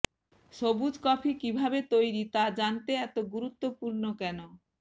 সবুজ কফি কিভাবে তৈরি তা জানতে এত গুরুত্বপূর্ণ কেন